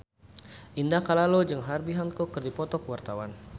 Indah Kalalo jeung Herbie Hancock keur dipoto ku wartawan